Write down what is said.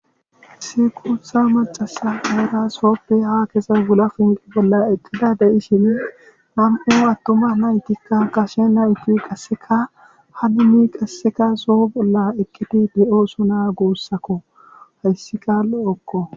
Issi guutha macasa Dara sooppe ha kesa gula finqi bolla eqqida deyi shine nam7o attuma naytikka kashe na itu qasseka haduni qasseka soo bolla eqqiti de7ooso naa guussakko hayssika lo'okko